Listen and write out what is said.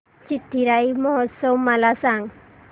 चिथिराई महोत्सव मला सांग